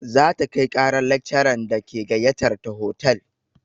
Za ta kai ƙarar lakcaran da ke gayyatar ta hotal.